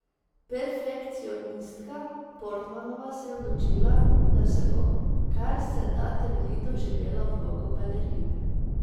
Perfekcionistka Portmanova se je odločila, da se bo kar se da temeljito vživela v vlogo balerine.